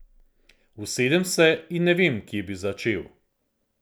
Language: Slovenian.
Usedem se in ne vem, kje bi začel.